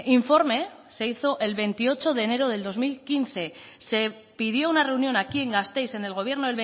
informe se hizo el veintiocho de enero de dos mil quince se pidió una reunión aquí en gasteiz en el gobierno